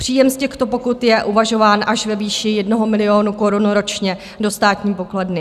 Příjem z těchto pokut je uvažován až ve výši 1 milionu korun ročně do státní pokladny.